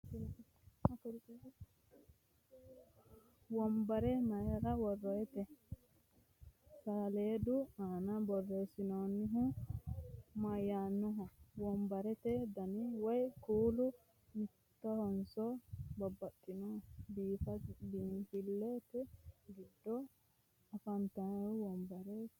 wonbare maayir woroonite? saleedu aana borreessinoonnihu mayaanoho? wonbarate danni woyi kuuli mittohonso babaxinoho? kifilete giddo afantanoti wonbarete kiiro me'etero buuxe la'e ka'e xawisi